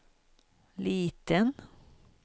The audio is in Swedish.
liten